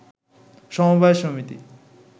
সমবায় সমিতি